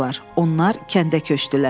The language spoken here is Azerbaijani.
Onlar kəndə köçdülər.